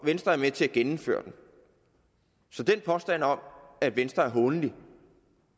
venstre er med til at genindføre den så den påstand om at venstre er hånlig